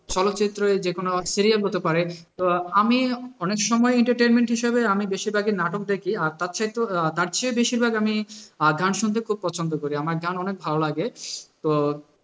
চলচ্চিত্র বা যেকোনো ধরণের serial হতে পারে, তো আমি অনেক সময় entertainment হিসাবে আমি বেশিরভাগই নাটক দেখি আর তার চাইতেও আহ তার চেয়ে বেশিরভাগ আমি আহ গান শুনতে খুব পছন্দ করি, আমার গান অনেক ভালো লাগে তো